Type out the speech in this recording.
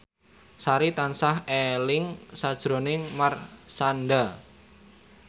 Sari tansah eling sakjroning Marshanda